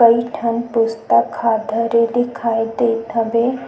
कई ठन पुस्तक ह धरे दिखाई देत हवे।